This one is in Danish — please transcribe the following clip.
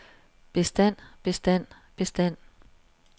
bestand bestand bestand